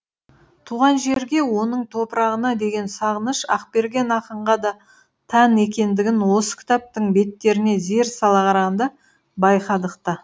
туған жерге оның топырағына деген сағыныш ақберген ақынға да тән екендігін осы кітаптың беттеріне зер сала қарағанда байқадық та